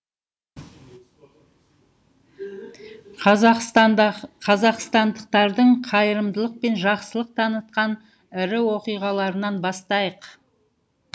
қазақстандықтардың қайырымдылық пен жақсылық танытқан ірі оқиғаларынан бастайық